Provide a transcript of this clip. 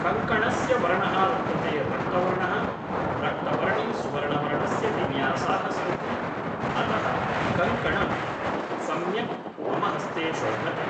कङ्कणस्य वर्णः वर्तते रक्तवर्णः रक्तवर्णे सुवर्णवर्णस्य विन्यासाः सन्ति अतः कङ्कणं सम्यक् मम हस्ते शोभते